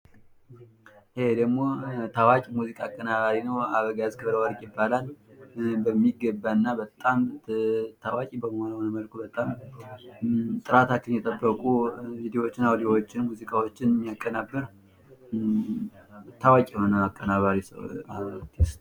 ታዋቂ ሙዚቃ አቀናባሪ ነው አበጋዝ ክብረ ወርቅ ይባላል ሚገባና ታዋቂ በመሆነ መልኩ ሙዚቃዎችን ቪዲዎችን የሚያቀናብር ታዋቂ አርቲስት ነው።